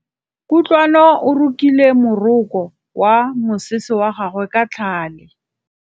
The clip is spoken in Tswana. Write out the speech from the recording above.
Kutlwanô o rokile morokô wa mosese wa gagwe ka tlhale.